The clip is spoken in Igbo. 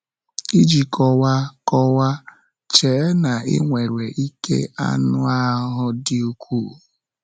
Iji kọwaa: kọwaa: Chee na ị nwere ike anụ ahụ dị ukwuu.